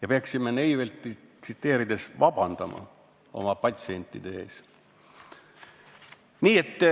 Me peaksime Neiveltit tsiteerides vabandama oma patsientide ees.